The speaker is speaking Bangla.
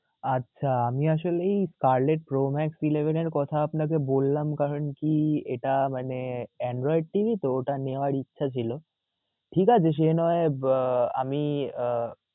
আচ্ছা, আমি আসলেই pro max এর কথা বললাম, কারণ কি এটা মানে Android TV তো ওটা নেওয়ার ইচ্ছা ছিল. ঠিক আছে সে নয় আহ আমি আহ